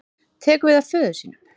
Tekur við af föður sínum